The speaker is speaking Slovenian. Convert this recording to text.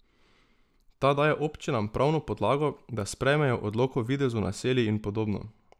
Ta daje občinam pravno podlago, da sprejmejo odlok o videzu naselij in podobno.